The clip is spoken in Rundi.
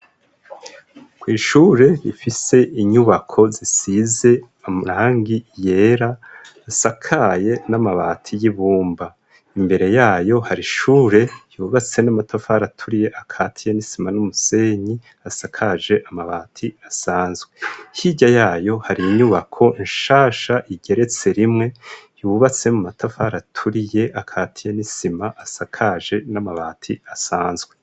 K'w ishure ifise inyubako zisize amarangi yera, isakaye n'amabati y'ibumba. Imbere yayo hari ishure ryubatse n'amatafari aturiye akatiya n'isima n'umusenyi asakaje amabati asanzwe. Hirya yayo hari inyubako nshasha igeretse rimwe, yubatse mu matafari aturiye akatiye n'isima asakaje n'amabati asanzwe.